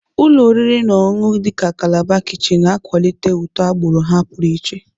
Ụlọ oriri na ọṅụṅụ agbụrụ dị ka kalabar kichin na-akwalite ụtọ agbụrụ ha pụrụ iche.